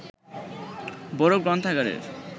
বড় গ্রন্থাগারের